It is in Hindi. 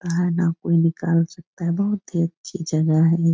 और ना कोई निकाल सकता है बहुत ही अच्छी जगह है ये |